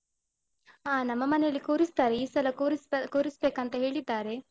ಹಾ ನಮ್ಮ ಮನೆಯಲ್ಲಿ ಕೂರಿಸ್ತಾರೆ. ಈ ಸಲ ಕೂರಿಸ್ತ~ ಕೂರಿಸ್ಬೇಕಂತ ಹೇಳಿದ್ದಾರೆ.